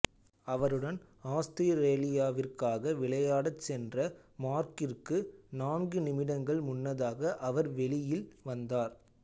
அவருடன் ஆஸ்திரேலியாவிற்காக விளையாடச் சென்ற மார்க்கிற்கு நான்கு நிமிடங்கள் முன்னதாக அவர் வெளியில் வந்தார்